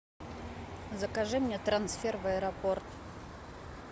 закажи мне трансфер в аэропорт